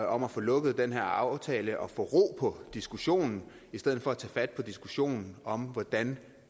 om at få lukket den her aftale og få ro på diskussionen i stedet for at tage fat på diskussionen om hvordan